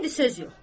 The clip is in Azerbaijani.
İndi söz yox.